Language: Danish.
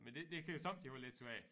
Men det det kan sommetider være lidt svært